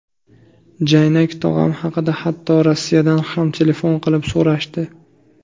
Jaynak tog‘am haqida hatto Rossiyadan ham telefon qilib so‘rashdi.